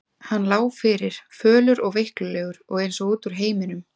Hann lá fyrir, fölur og veiklulegur og eins og út úr heiminum.